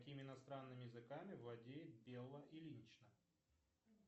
какими иностранными языками владеет белла ильинична